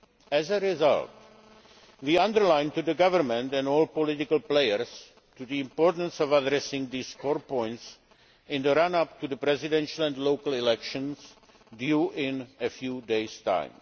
As a result, we underlined to the government and all political players the importance of addressing these core points in the run up to the presidential and local elections due in a few days